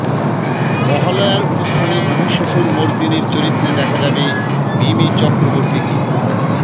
মহালয়ার অনুষ্ঠানে মহিষাসুর মর্দিনীর চরিত্রে দেখা যাবে মিমি চক্রবর্তীকে